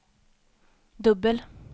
dubbel